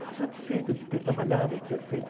Fico satisfeito de ter trabalhado, de ter feito.